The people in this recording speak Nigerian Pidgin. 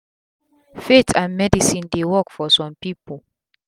faith and medicine dey work for sum pipu